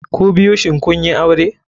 Kubiyu shin kunyi aure?